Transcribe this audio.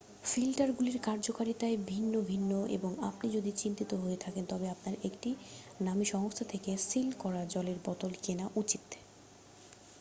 ফিল্টারগুলির কার্যকারিতায় ভিন্ন ভিন্ন হয় এবং আপনি যদি চিন্তিত হয়ে থাকেন তবে আপনার একটি নামী সংস্থা থেকে সিল করা জলের বোতল কেনা উচিত